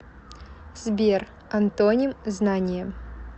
сбер антоним знание